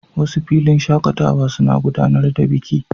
Wasu filin shakatawa suna gudanar da biki.